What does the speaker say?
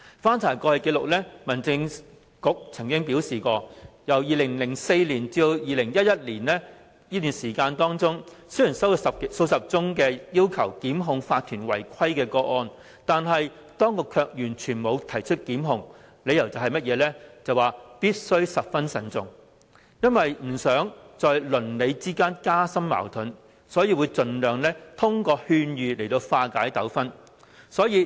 根據過去紀錄，民政事務局表示，在2004年至2011年期間，雖然接獲數十宗要求檢控法團違規的個案，但當局沒有提出檢控，理由是"必須十分慎重"，由於不想加深鄰里之間的矛盾，所以盡量以勸諭方式化解糾紛。